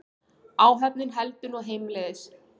Áhöfnin heldur nú heimleiðis